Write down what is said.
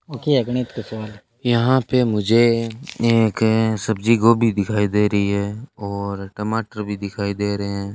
यहां पे मुझे एक सब्जी गोभी दिखाई दे रही है और टमाटर भी दिखाई दे रहे हैं।